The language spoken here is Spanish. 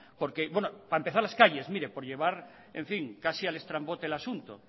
bueno para empezar las calles mire por llevar en fin al estrambote el asunto